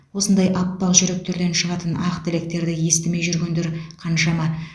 осындай аппақ жүректерден шығатын ақ тілектерді естімей жүргендер қаншама